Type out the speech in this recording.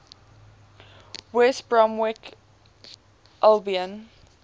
west bromwich albion